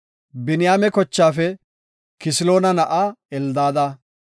Biniyaame kochaafe Kisiloona na7aa Eldaada;